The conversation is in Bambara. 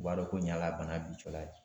U b'a dɔn ko nin y'a ka bana bi cɔlaye.